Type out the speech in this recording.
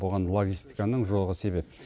бұған логистиканың жоғы себеп